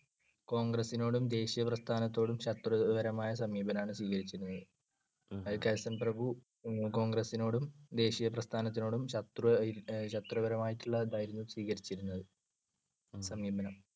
കോൺഗ്രസിനോടും ദേശീയ പ്രസ്ഥാനത്തോടും ശത്രുതപരമായ സമീപനമാണ് സ്വീകരിച്ചിരുന്നത്. കഴ്സൺ പ്രഭു കോൺഗ്രസിനോടും ദേശീയപ്രസ്ഥാനത്തിനോടും ശത്രു~ ശത്രുപരമായിട്ടുള്ളതായിരുന്നു സ്വീകരിച്ചിരുന്നത്, സമീപനം.